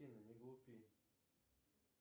афина не глупи